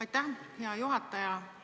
Aitäh, hea juhataja!